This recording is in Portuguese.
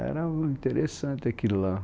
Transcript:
Era interessante aquilo lá.